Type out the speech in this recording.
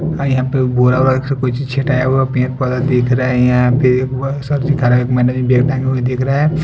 हाँ यहाँ पे बोरा ऊरा से कोई चीज़ छिटाया हुआ पेड़ पौधा दिख रहा है यहा पे दिख रहा--